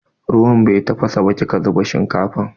Ruwan bai tafasa ba kika zuba shinkafa.